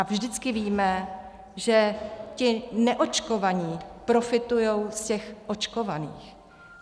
A vždycky víme, že ti neočkovaní profitují z těch očkovaných.